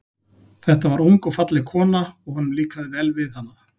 Þetta var ung og falleg kona, og honum líkaði vel við hana.